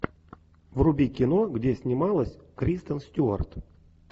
вруби кино где снималась кристен стюарт